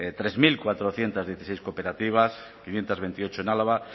tres mil cuatrocientos dieciséis cooperativas quinientos veintiocho en álava